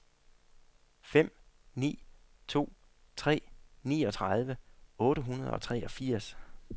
fem ni to tre niogtredive otte hundrede og treogfirs